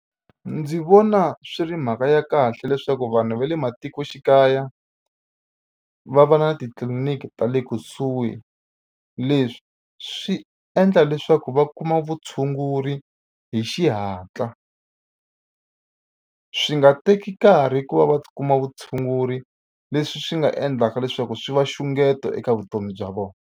Ndzi vona swi ri mhaka ya kahle leswaku vanhu va le matikoxikaya va va na titliliniki ta le kusuhi leswi swi endla leswaku va kuma vutshunguri hi xihatla swi nga teki nkarhi ku va va kuma vutshunguri leswi swi nga endlaka leswaku swi va nxungeto eka vutomi bya vona.